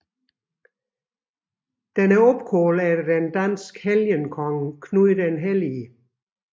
Den er opkaldt efter den danske helgenkonge Knud den Hellige